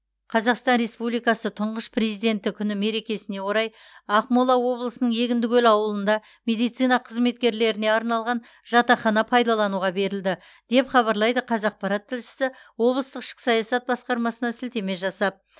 қазақстан республикасы тұңғыш президенті күні мерекесіне орай ақмола облысының егіндікөл ауылында медицина қызметкерлеріне арналған жатақхана пайдалануға берілді деп хабарлайды қазақпарат тілшісі облыстық ішкі саясат басқармасына сілтеме жасап